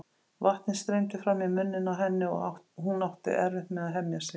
Vatnið streymdi fram í munninn á henni og hún átti erfitt með að hemja sig.